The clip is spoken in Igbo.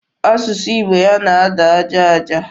Asụsụ Igbo ya na-ada aja aja.